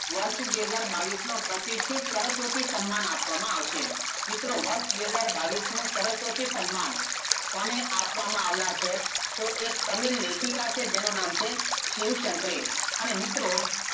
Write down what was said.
વર્ષ બે હજાર બાવીશનું પ્રતિષ્ઠિત સરસ્વતી સન્માન આપવામાં આવશે મિત્રો વર્ષ બે હજાર બાવીશનું સરસ્વતી સન્માન કોને આપવામાં આવનાર છે? તો એ તમિલ લેખિકાં છે જેનું નામ છે શિવ -શંકરી અને મિત્રો,